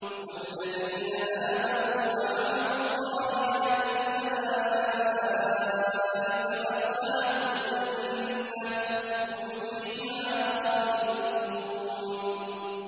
وَالَّذِينَ آمَنُوا وَعَمِلُوا الصَّالِحَاتِ أُولَٰئِكَ أَصْحَابُ الْجَنَّةِ ۖ هُمْ فِيهَا خَالِدُونَ